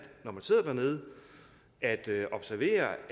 når man sidder dernede at observere